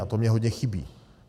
A to mi hodně chybí.